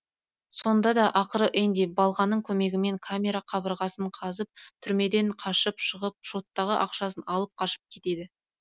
сонда да ақыры энди балғаның көмегімен камера қабырғасын қазып түрмеден қашып шығып шоттағы ақшасын алып қашып кетеді